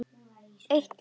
Eitt líf.